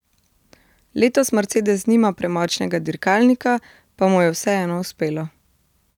Letos Mercedes nima premočnega dirkalnika, pa mu je vseeno uspelo.